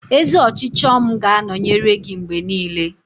Ezi ọchịchọ m ga-anọnyere gị mgbe niile.